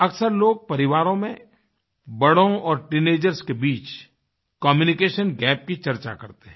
अक्सर लोग परिवारों में बड़ों और टीनेजर्स के बीच कम्यूनिकेशन गैप की चर्चा करते हैं